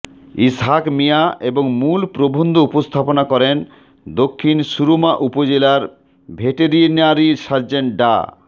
ইসহাক মিয়া এবং মূল প্রবন্ধ উপস্থাপনা করেন দক্ষিণ সুরমা উপজেলার ভেটেরিনারি সার্জন ডা